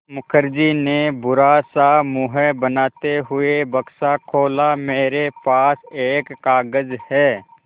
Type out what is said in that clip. मुखर्जी ने बुरा सा मुँह बनाते हुए बक्सा खोला मेरे पास एक कागज़ है